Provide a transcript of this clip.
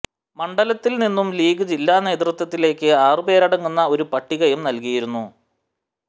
മണ്ഡലത്തില് നിന്നും ലീഗ് ജില്ലാ നേതൃത്വത്തിലേക്ക് ആറ് പേരടങ്ങുന്ന ഒരു പട്ടികയും നല്കിയിരുന്നു